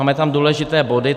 Máme tam důležité body.